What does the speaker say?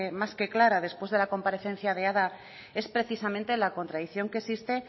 más que clara después de la comparecencia de es precisamente la contradicción que existe